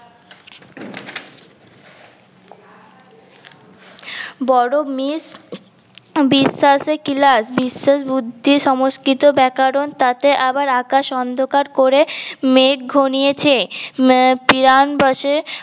বড় মেস হম বিশ্বাসে কিলাস বিশ্বাস বুদ্ধি সমস্কিত ব্যাকরণ তাতে আবার আকাশ অন্ধকার করে মেঘ ঘনিয়েছে